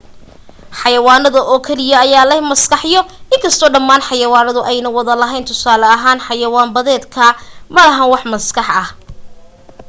xayawaanada oo keliya ayaa leh maskaxyo inkasto dhamaan xayawaanadu ayna wada lahayn tusaale ahaan; xayawaan badeedka, malaha wax maskax ah